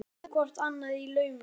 Þau blikkuðu hvort annað í laumi.